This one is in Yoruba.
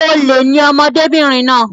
Olè ni ọmọbìnrin náà.